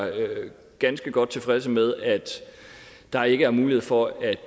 ganske godt tilfredse med at der ikke er mulighed for at